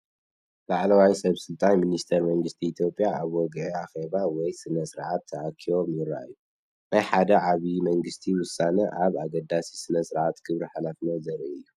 ላዕለዎት ሰበስልጣንን ሚኒስተራትን መንግስቲ ኢትዮጵያ ኣብ ወግዓዊ ኣኼባ ወይ ስነ-ስርዓት ተኣኪቦም ይረኣዩ። ናይ ሓደ ዓቢይ ናይ መንግስቲ ውሳነ ወይ ኣገዳሲ ስነ-ስርዓት ክብርን ሓላፍነትን ዘርኢ እዩ።